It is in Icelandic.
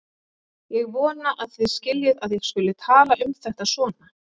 Ég vona að þið skiljið að ég skuli tala um þetta svona.